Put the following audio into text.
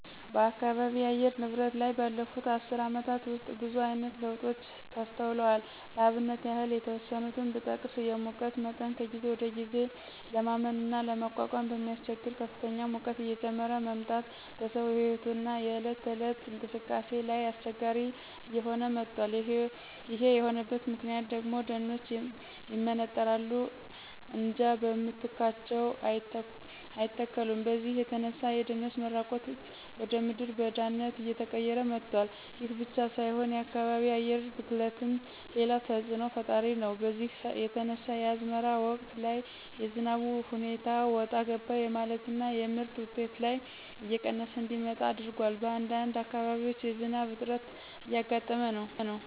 በአካባቢ የአየር ንብረት ላይ ባለፉት አስር አመታት ውስጥ ብዙአይነት ለውጦች ተስተውለዋል ለአብነት ያህል የተወሰኑትን ብጠቅስ የሙቀት መጠን ከጊዜ ወደጊዜ ለማመንና ለመቋቋም በሚያስቸግር ከፍተኛ ሙቀት እየጨመረ መምጣት በሰው ህይወትና የእለት ተእለት እንቅስቃሴ ላይ አስቸጋሪ እየሆነ መጧል ይሄ የሆነበት ምክንያት ደግሞ ደኖች ይመነጠራሉ እንጃ በምትካቸው አይተከሉም በዚህ የተነሳ የደኖች መራቆት ወደምድረ በዳነት አየቀየረው መጧል። ይሄ ብቻ ሳይሆን የከባቢ አየር ብክለትም ሌላው ተጽእኖ ፈጣሪ ነው በዚህ የተነሳ የአዝመራ ወቅት ላይ የዝናቡ ሁኔታ ወጣ ገባ የማለትና የምርት ውጤት ላይ እየቀነሰ እንዲመጣ አድርጓል በአንዳንድ አካባቢም የዝናብ እጥረት እያጋጠመ ነው።